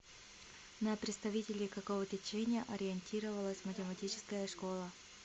на представителей какого течения ориентировалась математическая школа